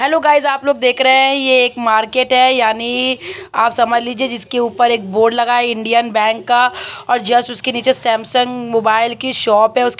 Hello guys आप लोग देख रहे है ये एक मार्केट है। यानी आप समझ लीजीये जिसके ऊपर एक बोर्ड लगा है। इंडियन बैंक का और जस्ट उसके नीचे सैमसंग मोबाइल की शॉप है।